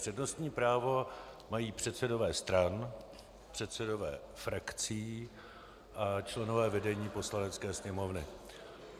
Přednostní právo mají předsedové stran, předsedové frakcí a členové vedení Poslanecké sněmovny.